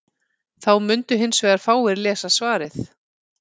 Þá mundu hins vegar fáir lesa svarið.